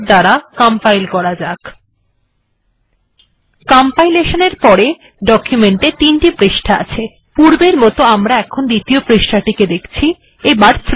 এবার এখানে আসা যাক লক্ষ্য করুন ডকুমেন্ট এ এখন তিনটি পৃষ্ঠা আছে আমরা যদিও এখন দ্বিতীয় পৃষ্ঠায় আছি কারণ আমরা আগে দ্বিতীয় পৃষ্ঠাতেই ছিলাম